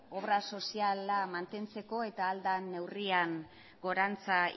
obra soziala mantentzeko eta ahal den neurrian gorantz